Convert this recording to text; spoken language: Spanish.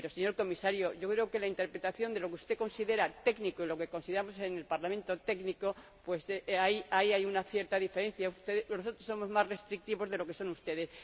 Pero, señor Comisario, yo creo que entre la interpretación de lo que usted considera técnico y lo que consideramos en el Parlamento técnico hay una cierta diferencia. Nosotros somos más restrictivos de lo que lo son ustedes.